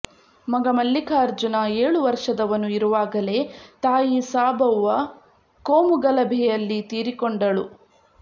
ಮಗ ಮಲ್ಲಿಕಾರ್ಜುನ ಏಳು ವರ್ಷದವನು ಇರುವಾಗಲೇ ತಾಯಿ ಸಾಬವ್ವ ಕೋಮುಗಲಭೆಯಲ್ಲಿ ತೀರಿಕೊಂಡಳು